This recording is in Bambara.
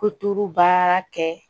Ko tulu baara kɛ